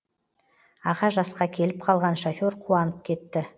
аға жасқа келіп қалған шофер қуанып кетті